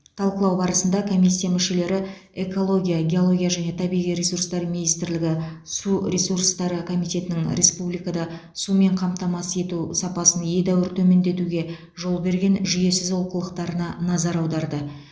талқылау барысында комиссия мүшелері экология геология және табиғи ресурстар министрлігі су ресурстары комитетінің республикада сумен қамтамасыз ету сапасын едәуір төмендетуге жол берген жүйесіз олқылықтарына назар аударды